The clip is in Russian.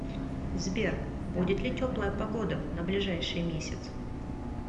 сбер будет ли теплая погода на ближайший месяц